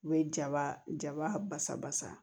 U bɛ jaba jabasa basa